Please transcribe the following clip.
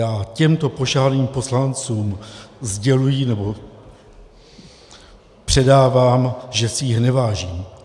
Já těmto pošahaným poslancům sděluji nebo předávám, že si jich nevážím.